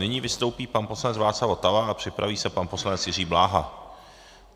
Nyní vystoupí pan poslanec Václav Votava a připraví se pan poslanec Jiří Bláha.